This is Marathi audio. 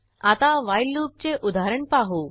आता व्हाईल लूपचे उदाहरण पाहू